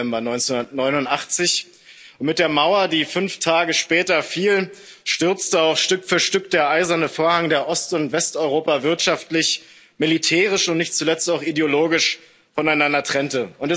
4. November 1989. Mit der Mauer, die fünf Tage später fiel, stürzte auch Stück für Stück der Eiserne Vorhang, der Ost und Westeuropa wirtschaftlich, militärisch und nicht zuletzt auch ideologisch voneinander trennte.